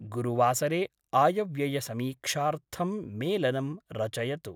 गुरुवासरे आयव्ययसमीक्षार्थं मेलनं रचयतु।